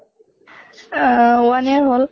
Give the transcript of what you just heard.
আহ one year হʼল